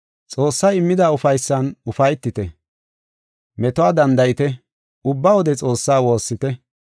Xoossay immida ufaysan ufaytite; metuwa danda7ite; ubba wode Xoossaa woossite.